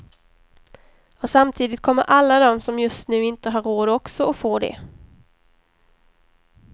Och samtidigt kommer alla de som just nu inte har råd också att få det.